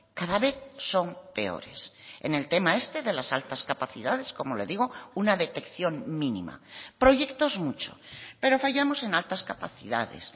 cada vez son peores en el tema este de las altas capacidades como le digo una detección mínima proyectos mucho pero fallamos en altas capacidades